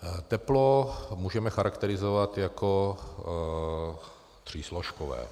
Teplo můžeme charakterizovat jako třísložkové.